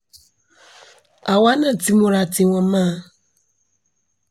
àwa náà ti múra tiwọn mọ́ ọn